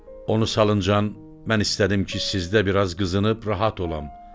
Onu salıncan, mən istədim ki, sizdə biraz qızınıb rahat olam.